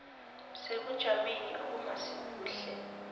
sebujameni obungasi buhle